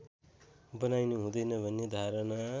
बनाइनु हुँदैन भन्ने धारणा